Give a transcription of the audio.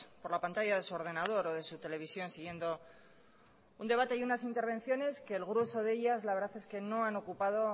por la pantalla de su ordenador o de su televisión siguiendo un debate y unas intervenciones que el grueso de ellas la verdad es que no han ocupado